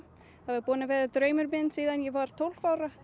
það hafði verið draumur minn síðan ég var tólf ára